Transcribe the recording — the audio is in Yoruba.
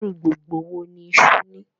Ìrù gbogbo wọ ni iṣu ní?